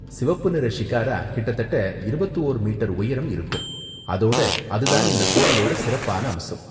சிவப்பு நிற ஷிகாரா கிட்டத்தட்ட இருபத்து ஓர் மீட்டர் உயரம் இருக்கும், அதோட அது தான் இந்த கோவிலோட சிறப்பான அம்சம்.